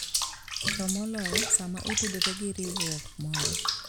To moloyo, sama otudore gi riwruok moro.